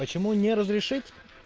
почему не разрешить